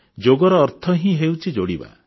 ଯୋଗର ଅର୍ଥ ହିଁ ହେଉଛି ଯୋଡ଼ିବା